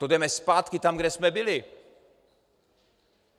To jdeme zpátky tam, kde jsme byli.